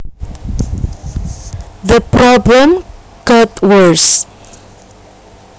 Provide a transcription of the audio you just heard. The problem got worse